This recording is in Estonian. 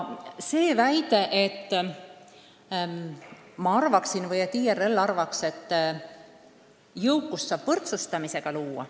Te väitsite, et ma arvan või et IRL arvab, et jõukust saab võrdsustamisega luua.